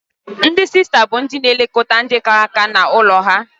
Ndị sista bụ ndị na-elekọta ndị kara nka n'ụlọ ha.